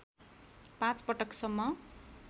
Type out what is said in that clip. ५ पटक सम्म